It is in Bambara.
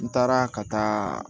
N taara ka taa